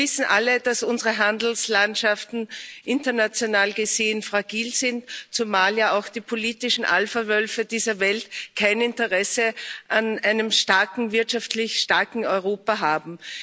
Wir wissen alle, dass unsere Handelslandschaften international gesehen fragil sind, zumal ja auch die politischen Alphawölfe dieser Welt kein Interesse an einem wirtschaftlich starken Europa haben.